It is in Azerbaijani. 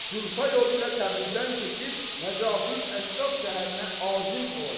Culfay yolu ilə Təbrizdən keçib Nəcəfüş-Şərif şəhərinə azim olacaq.